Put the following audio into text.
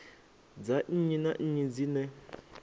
dza nnyi na nnyi dzine